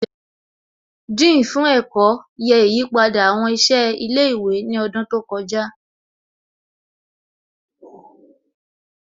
Dean fún ẹ̀kọ́ yẹ ìyípadà àwọn ìṣe ilé ìwé ní ọdún tó kọjá